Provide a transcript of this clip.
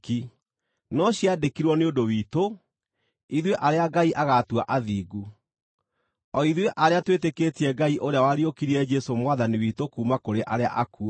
no ciandĩkirwo nĩ ũndũ witũ, ithuĩ arĩa Ngai agaatua athingu, o ithuĩ arĩa twĩtĩkĩtie Ngai ũrĩa wariũkirie Jesũ Mwathani witũ kuuma kũrĩ arĩa akuũ.